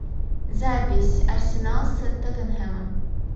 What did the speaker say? запись арсенал с тоттенхэмом